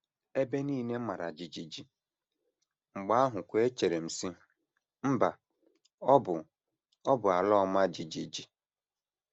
Ebe nile mara jijiji, mgbe ahụkwa echere m, sị: ‘ Mba, ọ bụ, ọ bụ ala ọma jijiji. ’